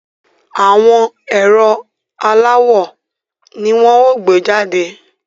Àwọn ẹ̀rọ aláwò ni wọ́n ó gbé jàde